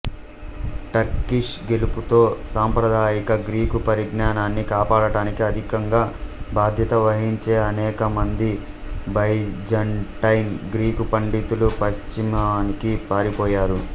Turkish గెలుపుతో సాంప్రదాయిక Greek పరిజ్ఞానాన్ని కాపాడటానికి అధికంగా బాధ్యత వహించే అనేకమంది బైజాంటైన్ గ్రీకు పండితులు పశ్చిమానికి పారిపోయారు